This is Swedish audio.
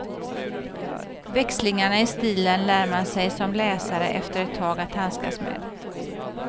Växlingarna i stilen lär man sig som läsare efter ett tag att handskas med.